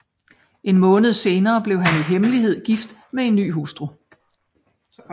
En måned senere blev han i hemmelighed gift med en ny hustru